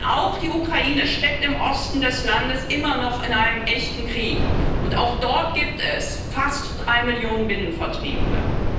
Denn auch die Ukraine steckt im Osten des Landes immer noch in einem echten Krieg, und auch dort gibt es fast 3 Millionen Binnenvertriebene.